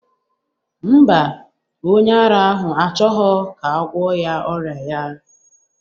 Mba, onye ara ahụ achọghọ ka agwọ ya ọrịa ya